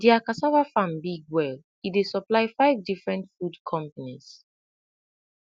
dia cassava farm big well e dey supply five different food companies